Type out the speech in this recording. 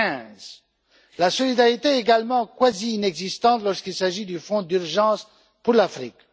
15. La solidarité est également quasi inexistante lorsqu'il s'agit du Fonds d'urgence pour l'Afrique.